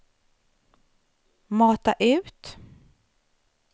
mata ut